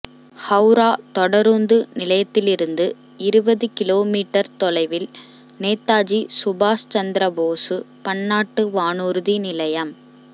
ஹவுரா தொடருந்து நிலையத்திலிருந்து இருபது கிலோ மீட்டர் தொலைவில் நேதாஜி சுபாசு சந்திரபோசு பன்னாட்டு வானூர்தி நிலையம்